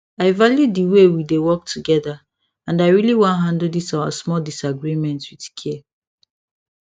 i value the way we dey work together and i really wan handle this our small disagreement with care